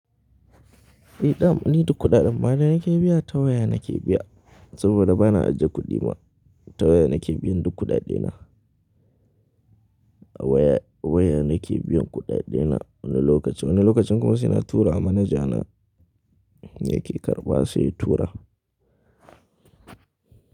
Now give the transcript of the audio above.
Eh, dam ni duk kuɗaɗen mana yake biya ta waya nake biya saboda ba na ajiye kuɗi ba. Ta waya nake biyan duk kuɗaɗena. A waya, awaya nake biyan kuɗaɗena wani lokaci. Wani lokacin kuma saina turama manaja na yake karɓa sai tura.